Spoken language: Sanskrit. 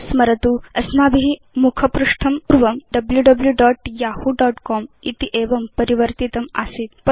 स्मरतु अस्माभि मुखपृष्ठं पूर्वं wwwyahoocom इति एवं परिवर्तितम् आसीत्